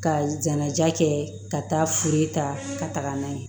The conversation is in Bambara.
Ka jɛnaja kɛ ka taa furu ta ka taga n'a ye